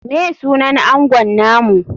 Me sunan angon namu?